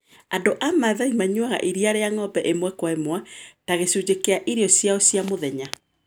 Andũ a Masai manyuaga iria rĩa ng'ombe ĩmwe kwa ĩmwe, ta gĩcunjĩ kĩa irio ciao cia mũthenya.